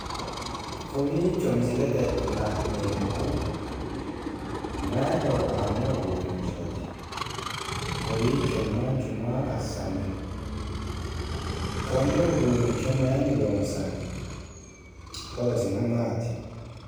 Kowiicho misilete la'neemmohu mayi horo aanno uduunnichooti? Kowiicho manchu maa assanni no? Konne uduunnicho mayinni loonsanni? Horosino maati?